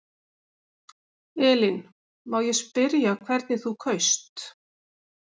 Elín: Má ég spyrja hvernig þú kaust?